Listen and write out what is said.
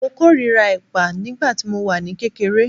Mo kórìíra ẹ̀pà nígbà tí mo wà ní kékeré